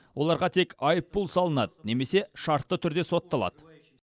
оларға тек айыппұл салынады немесе шартты түрде сотталады